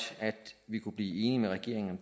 at vi kunne blive enige med regeringen